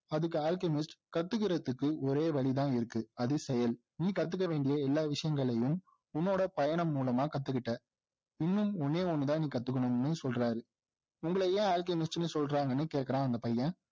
அதுக்கு அல்கெமிஸ்ட் கத்துக்கிறதுக்கு ஒரே வழிதான் இருக்கு அது செயல் நீ கத்துக்க வேண்டிய எல்லா விசயங்களையும் உன்னுடைய பயணம் மூலமா கத்துக்கிட்ட இன்னும் ஒன்னே ஒன்னுதான் கத்துக்கணும்னு சொல்றாரு உங்களை ஏன் அல்கெமிஸ்ட்னு சொல்றாங்கன்னு கேக்குறான் அந்த பையன்